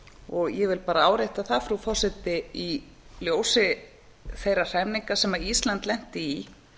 aðila ég vil bara árétta það frú forseti í ljósi þeirra hremminga sem ísland lenti í